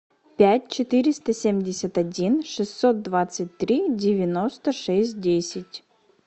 пять четыреста семьдесят один шестьсот двадцать три девяносто шесть десять